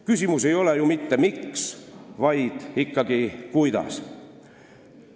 Küsimus ei ole ju mitte "Miks?", vaid ikkagi "Kuidas?".